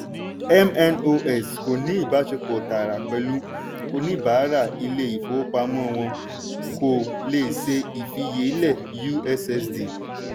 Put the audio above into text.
mnos kò ní ìbáṣepọ̀ tààrà pẹ̀lú oníbàárà ilé ìfowópamọ́ wọ́n kò le ṣe ìfiyelé ussd.